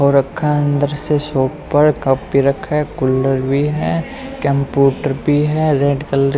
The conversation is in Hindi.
वो रखा है अंदर से शॉप पर कप भी रखा है कूलर भी है कंप्यूटर भी है रेड कलर --